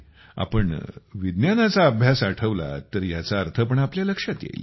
आपण विज्ञानाचा अभ्यास आठवलात तर ह्याचा अर्थ पण आपल्या लक्षात येईल